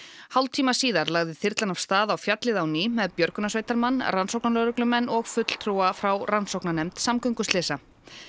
hálftíma síðar lagði þyrlan af stað á fjallið á ný með björgunarsveitarmann rannsóknarlögreglumenn og fulltrúa frá rannsóknarnefnd samgönguslysa